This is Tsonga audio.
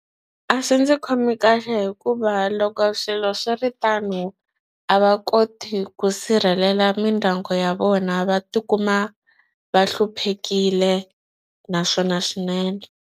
A swi ndzi khomi kahle hikuva loko swilo swi ri tano a va koti ku sirhelela mindyangu ya vona va tikuma va hluphekile naswona swinene.